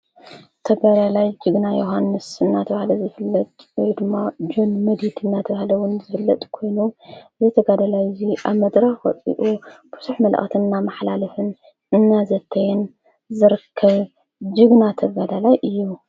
ተጋዳላይ ጅግና ዮሓንስ እናተብሃለ ዘፍለጥ ወየድማ ጃን መዲዲድ እናተብሃለዉን ዘፍለጥ ኮይኑ ዘተጋደላይ እዙይ ኣብመድረኽ ወፂኡ ብዙሕ መልእኽቲ ናመሃላለፈ እናዘተየን ዘርከብ ጅግና ተጋዳላይ እየ